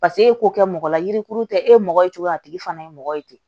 Paseke e k'o kɛ mɔgɔ la yirikuru tɛ e mɔgɔ ye cogo a tigi fana ye mɔgɔ ye ten